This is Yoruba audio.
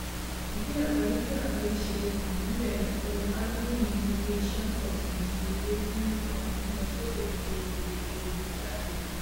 bí agbaye bí agbaye ṣe um ń bèrè ohun àlùmọnì inú ilẹ ṣe ń pọsi ìdíyelé ń um lọ sókè nítorí gbèdéke ìgbéjáde